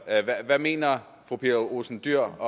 hvad mener fru pia olsen dyhr